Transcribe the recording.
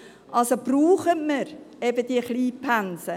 Also brauchen wir eben diese Kleinpensen.